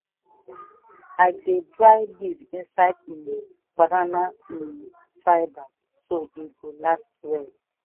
i dey dry leaf inside um banana um fibre so e go last well.